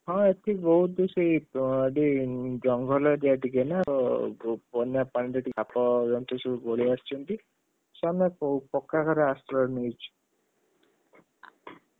ହଁ ଏଠି ବହୁତ୍ ସେଇ ଏଠି ଜଙ୍ଗଲ area ଟିକେ ନାତ ବନ୍ୟାପାଣିରେ ସାପଜନ୍ତୁ ସବୁ ପଲେଈ ଆସିଛନ୍ତି, ଆମେ ପକ୍କା ଘରେ ଆଶ୍ରୟ ନେଇଛୁ।